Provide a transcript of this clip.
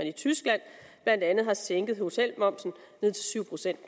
i tyskland blandt andet har sænket hotelmomsen til syv procent